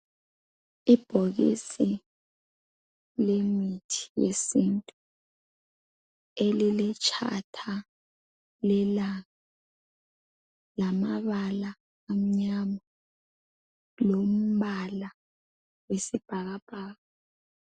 Ibhokisi lemithi yesintu eliletshatha lelanga lamabala amnyama lombala wesibhakabhaka.